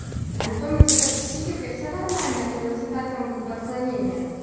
антон у тебя с психикой все нормально или у тебя там как бы отклонение